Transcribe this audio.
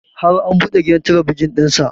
Har an buɗe gidan talabijin ɗin sa